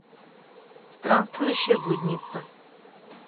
странствующая блудница